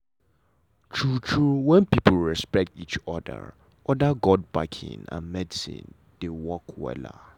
true true when people respect each other other god backing and medicine dey work wella.